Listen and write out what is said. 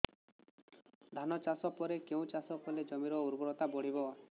ଧାନ ଚାଷ ପରେ କେଉଁ ଚାଷ କଲେ ଜମିର ଉର୍ବରତା ବଢିବ